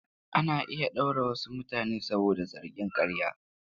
Ana iya ɗaure wasu mutane saboda zargin ƙarya.